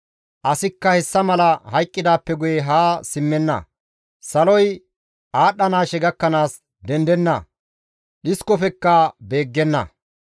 asikka hessa mala hayqqidaappe guye haa simmenna; saloy aadhdhanaashe gakkanaas dendenna; dhiskofekka beeggenna.